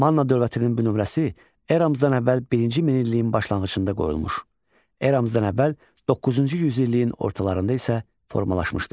Manna dövlətinin bünövrəsi eramızdan əvvəl birinci minilliyin başlanğıcında qoyulmuş, eramızdan əvvəl doqquzuncu yüzilliyin ortalarında isə formalaşmışdır.